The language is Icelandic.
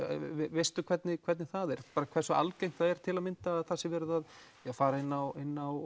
veistu hvernig hvernig það er bara hversu algengt það er til að mynda að það sé verið að fara inn á inn á